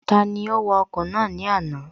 Tani ó wa ọkọ̀ ní àná?